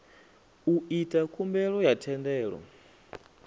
u ita khumbelo ya thendelo